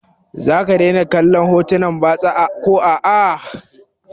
Za ka daina kallon hotunan batsa ko a a?